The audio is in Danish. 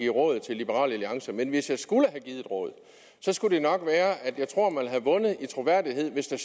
råd til liberal alliance men hvis jeg skulle give et råd skulle det nok være at jeg tror at man havde vundet i troværdighed hvis der